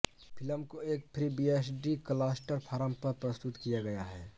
film को एक FreeBSD cluster farm पर प्रस्तुत किया गया है